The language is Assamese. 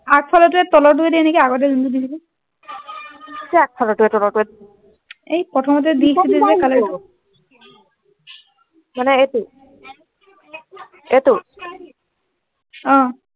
আগফালৰ টোৱে তলৰটোৱে দে নেকি আগৰ টো নিদিবি নেকি কি আগফালৰ টোৱে তলৰটোৱে এই প্ৰথমতে দিছিলি যে color টো মানে এইটো এইটো অ